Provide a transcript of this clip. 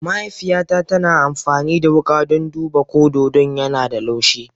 Mahaifiyata tana amfani da wuka don duba ko dodon yana da laushi.